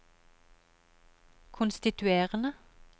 konstituerende